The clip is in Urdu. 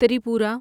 ترپورہ